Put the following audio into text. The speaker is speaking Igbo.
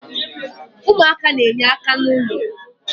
umuaka na-enye aka na ulo